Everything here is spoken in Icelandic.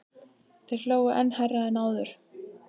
Þeir hlógu enn hærra en áður.